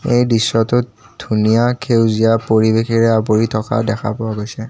এই দৃশ্যটোত ধুনীয়া খেউজীয়া পৰিৱেশেৰে আৱৰি থকা দেখা পোৱা গৈছে।